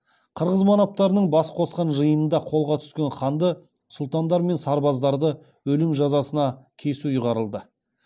қырғыз манаптарының бас қосқан жиынында қолға түскен ханды сұлтандар мен сарбаздарды өлім жазасына кесу ұйғарылды